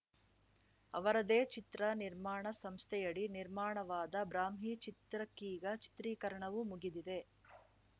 ಅವರದೇ ಚಿತ್ರ ನಿರ್ಮಾಣ ಸಂಸ್ಥೆಯಡಿ ನಿರ್ಮಾಣವಾದ ಬ್ರಾಹ್ಮಿ ಚಿತ್ರಕ್ಕೀಗ ಚಿತ್ರೀಕರಣವೂ ಮುಗಿದಿದೆ